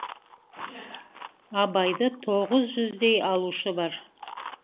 абайды тоғыз жүздей алушы бар